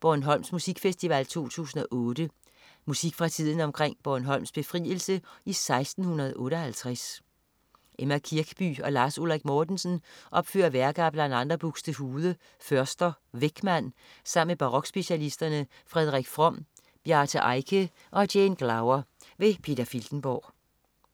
Bornholms Musikfestival 2008. Musik fra tiden omkring Bornholms befrielse i 1658. Emma Kirkby og Lars Ulrik Mortensen opfører værker af bl.a. Buxtehude, Förster og Weckmann sammen med barokspecialisterne Frederik From, Bjarte Eike og Jane Glower. Peter Filtenborg